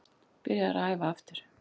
Byrjaður að æfa aftur.